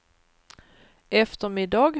eftermiddag